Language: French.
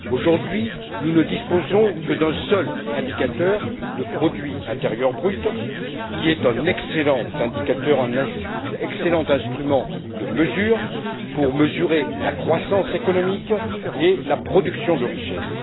Aujourd'hui, nous ne disposons que d'un seul indicateur, le produit intérieur brut, qui est un excellent indicateur, un excellent instrument de mesure pour mesurer la croissance économique et la production de richesses.